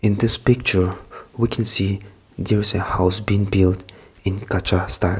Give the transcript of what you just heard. this picture emwe can see there is a house being dude in kachra style.